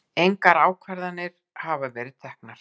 Engar ákvarðanir verið teknar